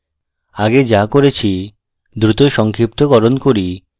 আগে যা করেছি দ্রুত সংক্ষিপ্তকরণ করি